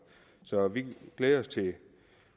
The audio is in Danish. så vi glæder os til